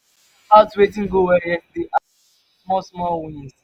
tink about wetin go well yestaday appreciate di small small wins